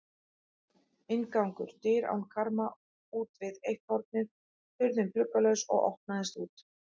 Inngangur: dyr án karma útvið eitt hornið, hurðin gluggalaus og opnaðist út.